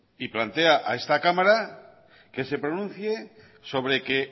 y plantea a esta cámara que se pronuncia sobre que